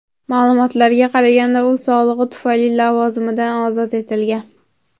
Ma’lumotlarga qaraganda, u sog‘lig‘i tufayli lavozimidan ozod etilgan.